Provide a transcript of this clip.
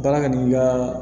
Baara kɛ n'i ka